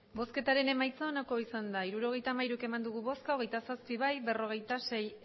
emandako botoak hirurogeita hamairu bai hogeita zazpi ez berrogeita sei